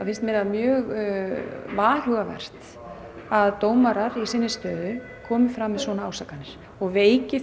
er mjög varhugavert að dómarar í sinni stöðu komi fram með svona ásakanir og veiki